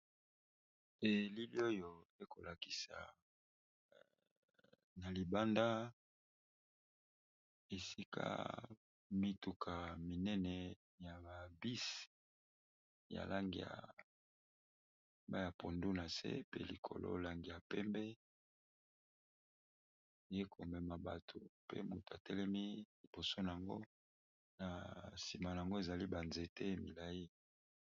Elili oyo ekolakisa na libanda esika mituka minene ya babisi ya lang ya baya pondu nase pe likolo langi ya pembe ye komema bato pe motu a telemi liboso na yango na nsima yango ezali banzete milayi.